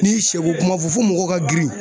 N'i ye sɛ ko kuma fɔ fo mɔgɔw ka girin